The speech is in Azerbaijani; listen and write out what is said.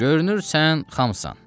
Görünür sən xamsan.